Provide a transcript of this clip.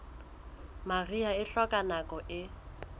mariha e hloka nako e